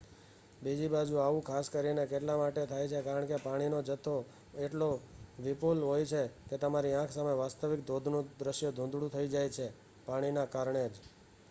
બીજી બાજુ આવું ખાસ કરીને એટલા માટે થાય છે કારણ કે પાણીનો જથો એટલો વિપુલ હોય છે કે તમારી આંખ સામે વાસ્તવિક ધોધનું દૃશ્ય ધૂંધળું થઈ જાય છે-એ પાણીના કારણે જ